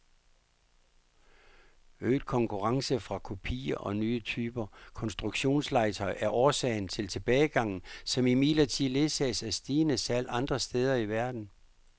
Øget konkurrence fra kopier og nye typer konstruktionslegetøj er årsag til tilbagegangen, som imidlertid ledsages af stigende salg andre steder i verden.